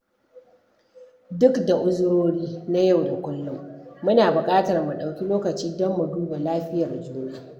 Duk da uzurori na yau da kullum, muna buƙatar mu ɗauki lokaci don mu duba lafiyar juna.